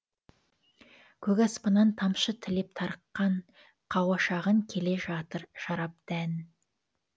көк аспаннан тамшы тілеп тарыққан қауашағын келе жатыр жарып дән